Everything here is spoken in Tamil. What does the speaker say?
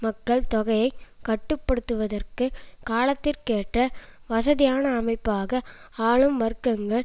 மக்கள் தொகையை கட்டு படுத்துவதற்கு காலத்திற்கேற்ற வசதியான அமைப்பாக ஆளும் வர்க்கங்கள்